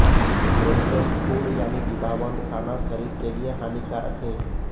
processed food यानी डिब्बाबंद खाना शरीर के लिए हानिकारक है